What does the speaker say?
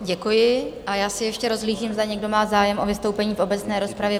Děkuji a já se ještě rozhlížím, zda někdo má zájem o vystoupení v obecné rozpravě?